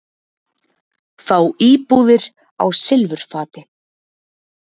Fá íbúðir á silfurfati